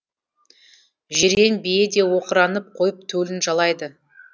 жирен бие де оқыранып қойып төлін жалайды